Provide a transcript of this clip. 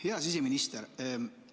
Hea siseminister!